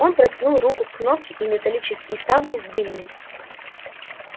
он протянул руку к кнопке и металлические ставни сдвинулись